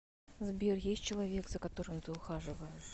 сбер есть человек за которым ты ухаживаешь